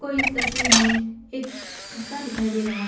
इस तस्वीर में एक रास्ता दिखाई दे रहा है।